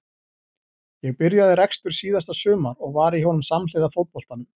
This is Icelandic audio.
Ég byrjaði rekstur síðasta sumar og var í honum samhliða fótboltanum.